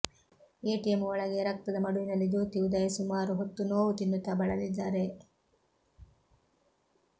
ATM ಒಳಗೆ ರಕ್ತದ ಮಡುವಿನಲ್ಲಿ ಜ್ಯೋತಿ ಉದಯ್ ಸುಮಾರು ಹೊತ್ತು ನೋವು ತಿನ್ನುತ್ತಾ ಬಳಲಿದ್ದಾರೆ